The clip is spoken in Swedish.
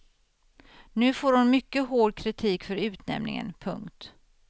Nu får hon mycket hårt kritik för utnämningen. punkt